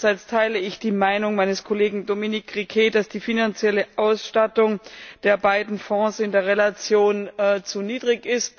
Andererseits teile ich die Meinung meines Kollegen Dominique Riquet, dass die finanzielle Ausstattung der beiden Fonds in der Relation zu niedrig ist.